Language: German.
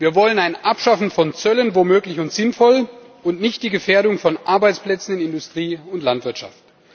Wir wollen ein Abschaffen von Zöllen wo möglich und sinnvoll und nicht die Gefährdung von Arbeitsplätzen in Industrie und Landwirtschaft.